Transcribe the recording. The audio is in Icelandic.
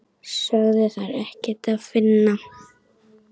Sögðu þar ekkert að finna.